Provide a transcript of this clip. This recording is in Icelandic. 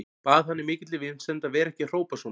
Bað hann í mikilli vinsemd að vera ekki að hrópa svona.